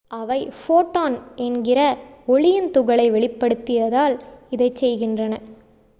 அவை ஃபோட்டான் என்கிற ஒளியின் துகளை வெளியிடுவதால் இதைச் செய்கின்றன